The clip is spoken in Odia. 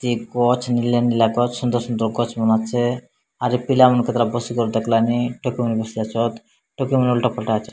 ଏ ଗଛ୍ ନେଲିଆ ନେଲିଆ ଗଛ୍ ସୁନ୍ଦର୍ ସୁନ୍ଦର୍ ଗଛ୍ ମନେ ଅଛେ ଆରୁ ପିଲାମାନେ କେତେଟା ବସିକରି ଦେଖଲାନି ଟୋକିମାନେ ବସିବା ଚତ୍ ଟୋକିମାନେ ଓଲ୍ଟା ପଲ୍ଟା ଅଛେ।